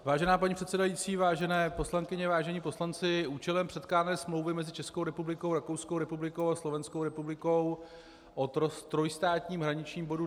Vážená paní předsedající, vážené poslankyně, vážení poslanci, účelem předkládané smlouvy mezi Českou republikou, Rakouskou republikou a Slovenskou republikou o trojstátním hraničním bodu